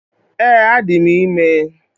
Ee, adị m ime